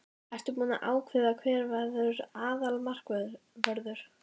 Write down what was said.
Ertu búinn að ákveða hver verður aðalmarkvörður?